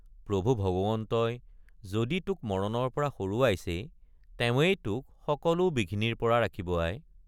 প্ৰভু ভগৱন্তই যদি তোক মৰণৰপৰা সৰুৱাইছেই তেৱেঁই তোক সকলো বিঘিনিৰপৰা ৰাখিব আই।